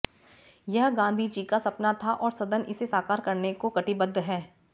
यह गांधी जी का सपना था और सदन इसे साकार करने को कटिबद्ध है